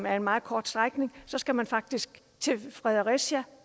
er en meget kort strækning skal man faktisk til fredericia